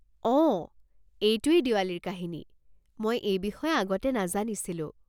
অ', এইটোয়েই দিৱালীৰ কাহিনী। মই এই বিষয়ে আগতে নাজানিছিলো।